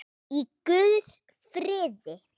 Í guðs friði.